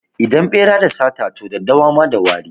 Idan ɓera da sata, to daddawa ma da wari.